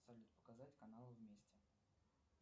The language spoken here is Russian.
салют показать каналы вместе